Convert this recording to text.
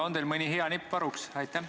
On teil mõni hea nipp varuks?